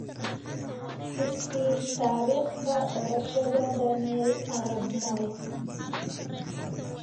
i sii taariikhda dhalashada daniel arap moi